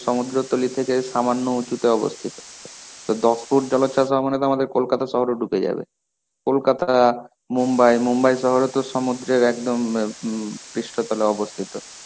সমদ্রতলি থেকে সামান্য উচুতে অবস্থিত. তা দশ ফুট জলচ্ছাস হওয়া মানে তো আমাদের কলকাতা শহরও ডুবে যাবে. কলকাতা, মুম্বাই. মুম্বাই শহরে তো সমুদ্রের একদম ম পৃষ্ঠতলে অবস্থিত.